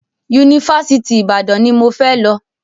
Yunifásitì Ìbàdàn ni mo fẹ́ lọ.